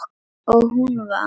Og hún vann.